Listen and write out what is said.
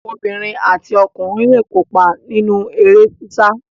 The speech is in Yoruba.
Obìnrin àti ọkùnrin le kópa nínú eré sísá.